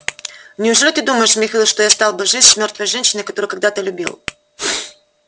неужели ты думаешь михаил что я стал бы жить с мёртвой женщиной которую когда-то любил